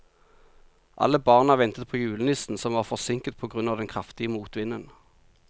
Alle barna ventet på julenissen, som var forsinket på grunn av den kraftige motvinden.